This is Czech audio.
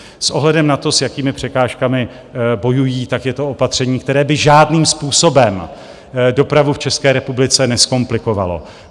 S ohledem na to, s jakými překážkami bojují, tak je to opatření, které by žádným způsobem dopravu v České republice nezkomplikovalo.